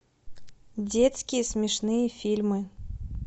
детские смешные фильмы